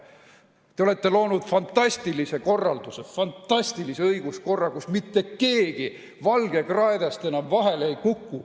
Te olete loonud fantastilise korralduse, fantastilise õiguskorra, kus mitte keegi valgekraedest enam vahele ei kuku.